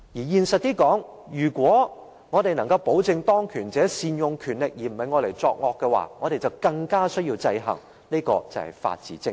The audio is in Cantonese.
現實一點地說，如果我們要確保當權者善用權力，而不會用來作惡，我們更需要予以制衡，這便是法治精神。